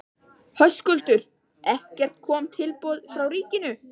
Höskuldur: Kom ekkert tilboð frá ríkinu?